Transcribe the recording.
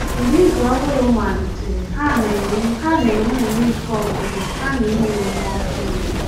Mgbe izu ọhụrụ malitere, ha na-enwe ha na-enwe nnọọ ike ọgwụgwụ kama inwe ume ọhụrụ.